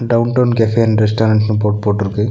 Downtown cafe and ரெஸ்டாரண்ட்னு board போட்ருக்கு.